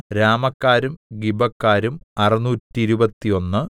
രാമക്കാരും ഗിബക്കാരും അറുനൂറ്റിരുപത്തൊന്ന്